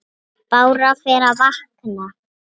Bára fer að vakna.